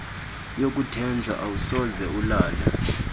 yokuthenjwa awusoze ulale